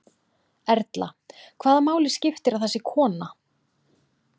Erla: Hvaða máli skiptir að það sé kona?